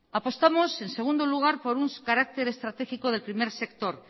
apostamos en segundo lugar por un carácter estratégico del primer sector